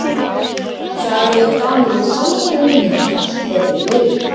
Þar höfðu Danir að sjálfsögðu vinninginn þar sem þeir höfðu yfir